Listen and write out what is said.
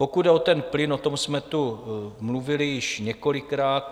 Pokud jde o plyn, o tom jsme tu mluvili již několikrát.